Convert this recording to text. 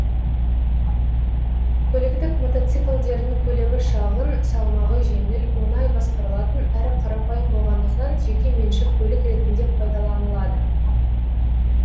көліктік мотоциклдердің көлемі шағын салмағы жеңіл оңай басқарылатын әрі қарапайым болғандықтан жеке меншік көлік ретінде пайдаланылады